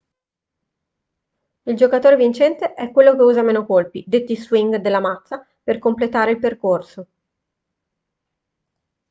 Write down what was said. il giocatore vincente è quello che usa meno colpi detti swing della mazza per completare il percorso